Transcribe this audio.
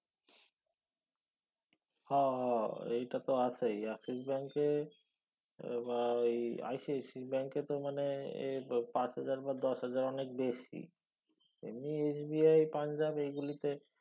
হ এইটা তো আছেই Axis bank এ বা ঐ ICICI ব্যাঙ্কেতো মানে পাঁচ হাজার বা দশ হাজার অনেক বেশি এমনি SBI পাঞ্জাব এইগুলিতে